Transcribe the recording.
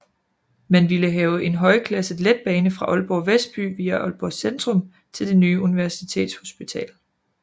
Man ville have en højklasset letbane fra Aalborg Vestby via Aalborg Centrum til det nye Universitetshospital